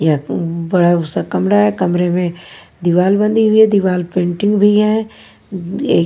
यह बा बड़ा सा कमरा है कमरे में दीवार बनी हुई है दीवार पेंटिंग भी है एक--